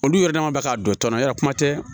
Olu yɛrɛ dama bɛ k'a dɔn tɔn yɛrɛ kuma tɛ